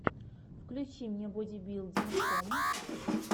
включи мне бодибилдинг ком